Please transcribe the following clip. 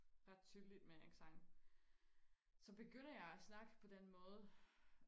ret tydeligt med en accent så begynder jeg og snakke på den måde